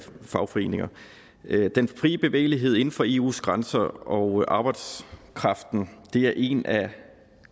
fagforeninger den frie bevægelighed inden for eus grænser og arbejdskraften er en af